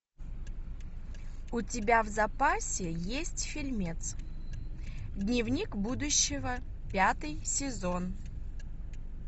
у тебя в запасе есть фильмец дневник будущего пятый сезон